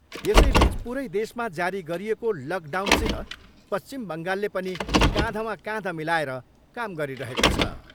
यसैबिच पुरै देशमा जारी गरिएको लकडाउनसित पश्चिम बङ्गालले पनि काँधमा काँध मिलाएर काम गरिरहेको छ।